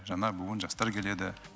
жаңа буын жастар келеді